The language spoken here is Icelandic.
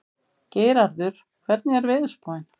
Geirarður, hvernig er veðurspáin?